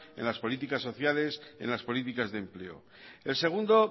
en las políticas sociales en las políticas de empleo el segundo